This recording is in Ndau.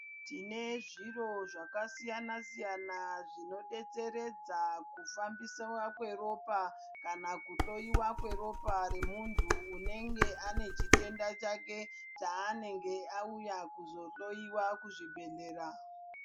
Tine zviro zvakasiyana siyana zvinodetseredza kufambisiwa kweropa kana kuhloiwa kweropa remuntu unenge anechitenda chake chaanenge auya kuzohloiwa kuzvibhedhlera.